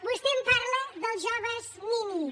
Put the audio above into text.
)vostè em parla dels joves ni nis